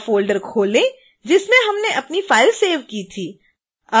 वह फ़ोल्डर खोलें जिसमें हमने अपनी फाइल सेव की थी